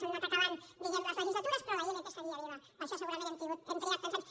han anat acabant diguem ne les legislatures però la ilp seguia viva per això segurament hem trigat tants anys